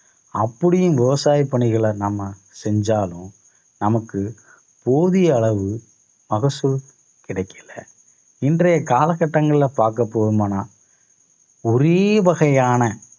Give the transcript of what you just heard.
அப்படியும் விவசாய பணிகளை நாம செஞ்சாலும் நமக்கு போதிய அளவு மகசூல் கிடைக்கல இன்றைய காலகட்டங்கள்ல பாக்கப்போகுமானால் ஒரே வகையான